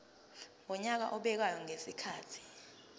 wonyaka obekwayo ngezikhathi